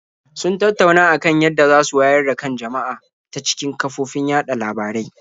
Sun tattauna a kan yadda za su wayar da kan jama'a ta cikin kafofin yaɗa labarai.